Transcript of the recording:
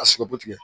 A sigɛrɛti